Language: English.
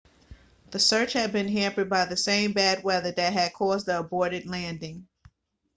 the search had been hampered by the same bad weather that had caused the aborted landing